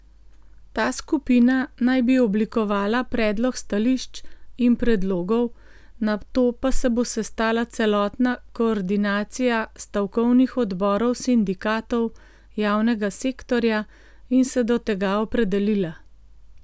Ta skupina naj bi oblikovala predlog stališč in predlogov, nato pa se bo sestala celotna koordinacija stavkovnih odborov sindikatov javnega sektorja in se do tega opredelila.